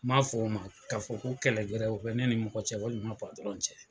N m'a fɔ o ma k'a fɔ ko kɛlɛ wɛrɛ o be ne ni mɔgɔ cɛ walima patɔrɔn cɛ